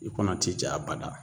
I kɔnɔ ti ja a bada